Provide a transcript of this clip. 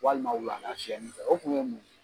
Walima wulada siyɛni fɛ. O kun ye mun?